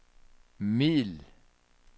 middel